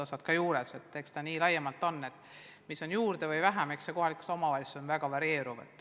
Eks ta laiemalt nii käib ja mis antakse juurde või on vähem, eks see ole kohalikes omavalitsustes väga varieeruv.